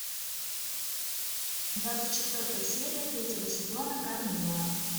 двадцать четвертая серия третьего сезона кармилла